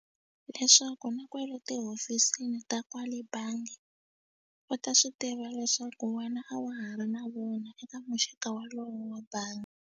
Leswaku na kwale tihofisini ta kwale bangi u ta swi tiva leswaku wena a wa ha ri na vona eka muxaka wolowo wa bangi.